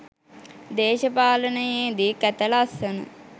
දේශපාලනයේදි කැත ලස්සන